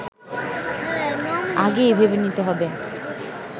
আগেই ভেবে নিতে হবে